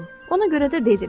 Ona görə də dedi: